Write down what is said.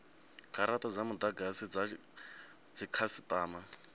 garata dza mudagasi dza dzikhasitama